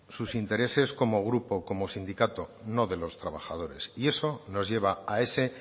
sus intereses como grupo como sindicato no de los trabajadores y eso nos lleva a ese